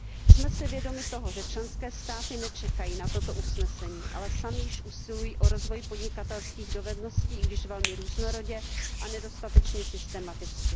Jsme si vědomi toho, že členské státy nečekají na toto usnesení, ale samy již usilují o rozvoj podnikatelských dovedností, i když velmi různorodě a nedostatečně systematicky.